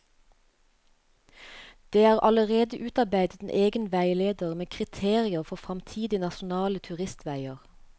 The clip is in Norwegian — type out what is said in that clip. Det er allerede utarbeidet en egen veileder med kriterier for fremtidige nasjonale turistveier.